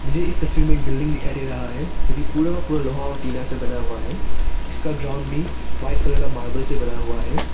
मुझे इस तस्वीर में एक बिल्डिंग दिखाई दे रहा है जो कि पूरा का पूरा लोहा और टीना से बना हुआ है इसका ग्राउंड भी वाइट कलर का मार्बल से बना हुआ है।